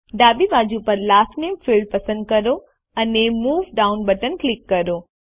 ડાબી બાજુ પર લાસ્ટ નામે ફિલ્ડ પસંદ કરો અને મૂવ ડાઉન બટન પર ક્લિક કરો